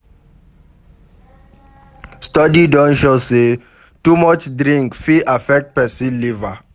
Study don show sey too much drink fit affect person liver